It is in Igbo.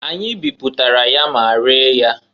Anyị biputara ya ma ree ya.